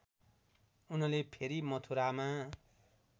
उनले फेरि मथुरामा